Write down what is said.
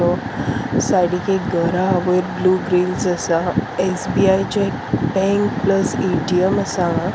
वो सायडीक एक घर आहा वयर ब्लू ग्रील्स आसा एस_बी_आई चे बैंक प्लस ए_टी_एम आसा हांगा.